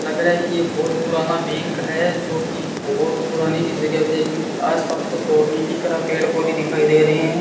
लग रहा है कि ये बहुत पुराना बैंक है जोकि बहुत पुरानी चीजों का है क्योंकि आसपास कोई और नहीं दिख रहा सिर्फ पेड़ पौधे दिखाई दे रहे हैं।